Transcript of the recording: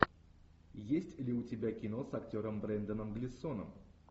есть ли у тебя кино с актером бренданом глисоном